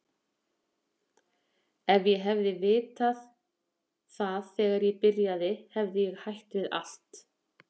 Ef ég hefði vitað það þegar ég byrjaði hefði ég hætt við allt.